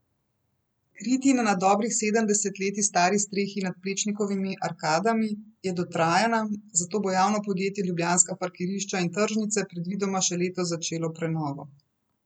Kritina na dobrih sedem desetletij stari strehi nad Plečnikovimi arkadami je dotrajana, zato bo javno podjetje Ljubljanska parkirišča in tržnice predvidoma še letos začelo prenovo.